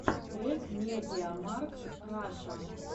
трек медиамаркт раша